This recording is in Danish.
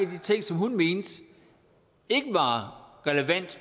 ting som hun mente ikke var relevant